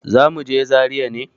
Zamuje zaria ne